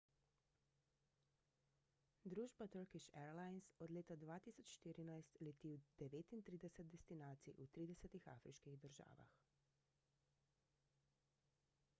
družba turkish airlines od leta 2014 leti v 39 destinacij v 30 afriških državah